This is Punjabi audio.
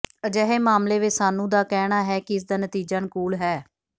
ਅਜਿਹੇ ਮਾਮਲੇ ਵਿਚ ਸਾਨੂੰ ਦਾ ਕਹਿਣਾ ਹੈ ਕਿ ਇਸ ਦਾ ਨਤੀਜਾ ਅਨੁਕੂਲ ਹੈ